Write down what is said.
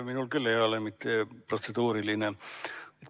Minul ei ole protseduuriline küsimus.